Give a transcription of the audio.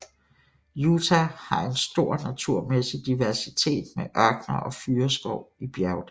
Utah har en stor naturmæssig diversitet med ørkener og fyrreskov i bjergdale